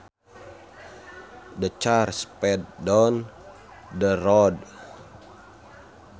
The car sped down the road